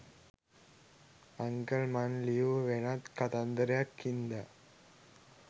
uncle මං ලියූ වෙනත් කතන්දරයක් හින්දා